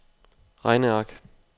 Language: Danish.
regneark